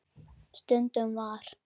Stundum var